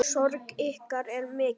Sorg ykkar er mikil.